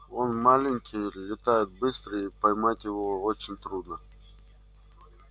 он маленький летает быстро и поймать его очень трудно